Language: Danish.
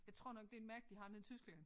Jeg tror nok det et mærke de har nede i Tyskland